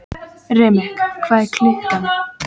Remek, hvað er klukkan?